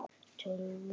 Tólf út.